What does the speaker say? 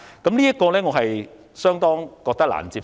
我認為，這個理由相當難以接受。